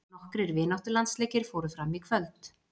Nokkrir vináttulandsleikir fóru fram í kvöld.